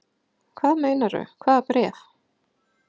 Hvað meinarðu. hvaða bréf?